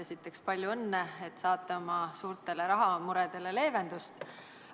Esiteks, palju õnne, et saate oma suurtele rahamuredele leevendust.